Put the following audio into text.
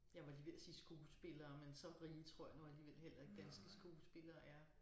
Jeg var lige ved at sige skuespillere men så rige tror jeg nu alligevel heller ikke danske skuespillere er